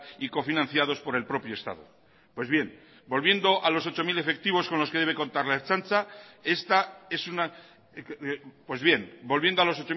y cofinanciados por el propio estado volviendo a los ocho mil